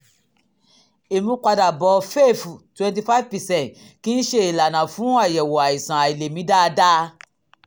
ìmúpadàbọ̀ fef twenty five percent kì í ṣe ìlànà fún àyẹ̀wò àìsàn àìlèmí dáadáa